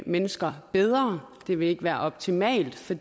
mennesker bedre det vil ikke være optimalt for